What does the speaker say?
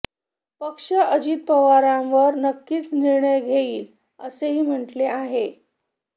पक्ष अजित पवारावर नक्कीच निर्णय घेईल असेही म्हटले आहे